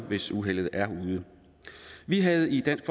hvis uheldet er ude vi havde i dansk